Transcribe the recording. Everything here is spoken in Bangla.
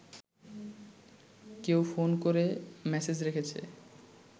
কেউ ফোন করে মেসেজ রেখেছে